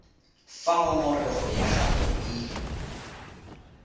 fa ngongorego ya gago e